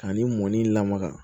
Ani mɔni lamaga